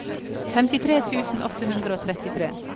femtitre tusen åtte hundre og trettitre